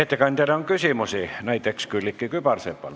Ettekandjale on küsimusi, näiteks Külliki Kübarsepal.